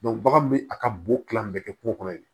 bagan bɛ a ka bon kilan bɛɛ kɛ kungo kɔnɔ yen